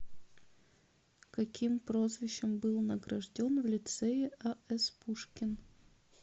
каким прозвищем был награжден в лицее а с пушкин